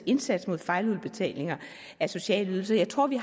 indsats mod fejludbetalinger af sociale ydelser jeg tror vi